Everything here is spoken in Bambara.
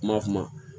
Kuma kuma